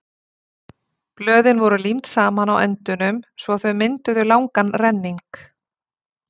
Blöðin voru límd saman á endunum svo að þau mynduðu langan renning.